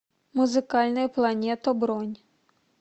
музыкальная планета бронь